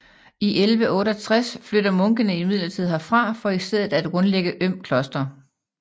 I 1168 flytter munkene imidlertid herfra for i stedet at grundlægge Øm Kloster